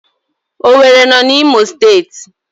Owerri no na Imo steeti